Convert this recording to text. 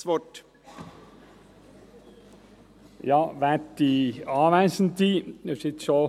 Ich möchte Grossrat Sommer bitten, sich rasch einzuloggen, damit er diesen definitiv vorstellen kann.